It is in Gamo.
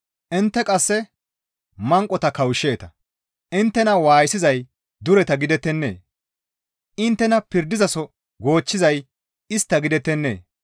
Intte qasse manqota kawushsheeta; inttena waayisizay dureta gidettennee? Inttena pirdaso goochchizay istta gidettennee?